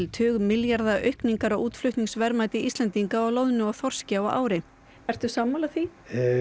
tugmilljarða aukningar á útflutningsverðmæti Íslendinga á loðnu og þorski á ári ertu sammála því